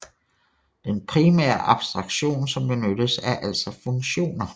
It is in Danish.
Den primære abstraktion som benyttes er altså funktioner